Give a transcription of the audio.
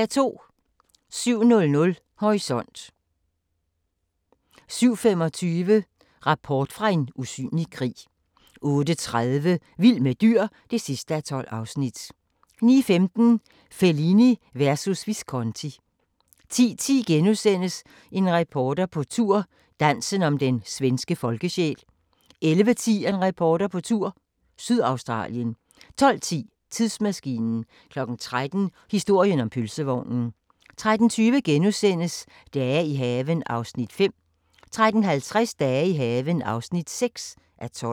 07:00: Horisont 07:25: Rapport fra en usynlig krig 08:30: Vild med dyr (12:12) 09:15: Fellini versus Visconti 10:10: En reporter på tur – Dansen om den svenske folkesjæl * 11:10: En reporter på tur – Sydaustralien 12:10: Tidsmaskinen 13:00: Historien om pølsevognen 13:20: Dage i haven (5:21)* 13:50: Dage i haven (6:12)